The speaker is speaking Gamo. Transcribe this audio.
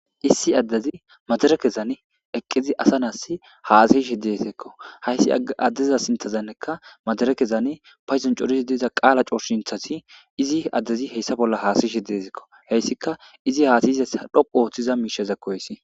Issi addezi maderekezan eqqidi asa na'asi hasayishe dizessikko. Hayssi addeza sinthani madirekezani payduwan coridi diza qaala coshintazi izi adezi hayssa bolla haasayishe de'eskko Ikka izi haasayiza miishaza dhoqu oothiza miishshakko hessi.